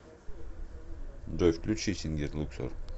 джой включи сингер луксор